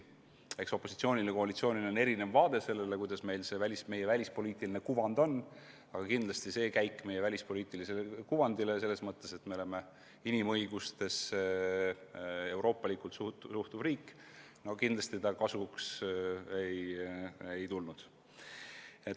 Eks opositsioonil ja koalitsioonil ole erinev vaade sellele, milline on meie välispoliitiline kuvand, aga rahvusvaheliselt see käik meie kuvandile selles mõttes, et oleme inimõigustesse euroopalikult suhtuv riik, kindlasti kasuks ei tulnud.